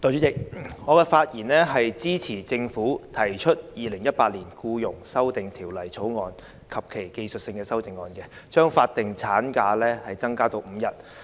代理主席，我發言支持政府提出的《2018年僱傭條例草案》及其技術性修正案，把法定侍產假增至5天。